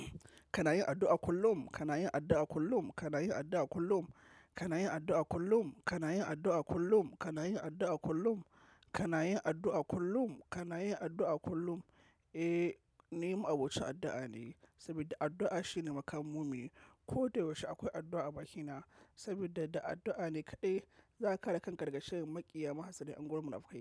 Kana yin addu'a kullum, kana yin addu'a kullum, kana yin addu'a kullum, kana yin addu'a kullum, kana yin addu'a kullum, kana yin addu'a kullum, kana yin addu'a kullum, kana yin addu'a kullum. Eh, ni mu'abocin addu'a ne, sabida addu'a shine makamun mumini. Ko da yaushe akwai addu'a a bakina, sabida da addu'a ne kaɗai zaka kare kanka daga sharrin makiya mahassada 'yanguwar munafikai.